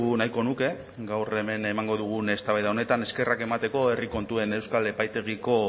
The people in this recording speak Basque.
nahiko nuke gaur hemen emango dugun eztabaida honetan eskerrak emateko herri kontuen euskal epaitegiko